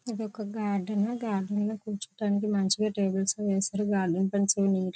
ఇదొక garden . Garden లో కూర్చోడానికి మంచిగా టేబుల్స్ వేశారు. గార్డెన్ పని ]